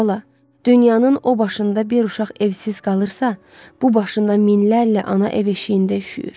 Ay bala, dünyanın o başında bir uşaq evsiz qalırsa, bu başında minlərlə ana ev-eşiyində üyür.